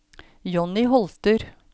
Jonny Holter